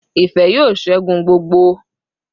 Ife yoo segun gbogbo